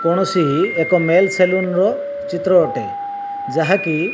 କୌଣସି ଏକ male salon ର ଚିତ୍ର ଅଟେ ଯାହାକି --